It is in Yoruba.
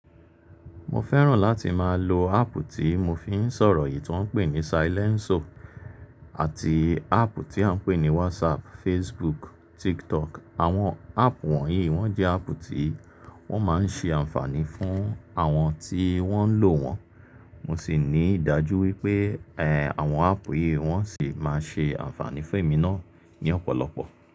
Mo fẹ́ràn láti máa lo áàpù tí mo fi ń sọ̀rọ̀ yìí tí wọ́n ń pè ní silènsio àti áàpù tí à ń pè ní wásapù, facebook, tiktokù. Àwọn áàpù wọ̀nyí wọ́n jẹ́ áàpù tí wọ́n máa ń ṣe ànfàní fún àwọn tí wọ́n ń lò wọ́n, mo sì ní ìdájú wípé ẹ̀ àwọn áàpù yìí wọ́n sì máa ṣe ànfàní fún èmi náà ní ọ̀pọ̀lọpọ̀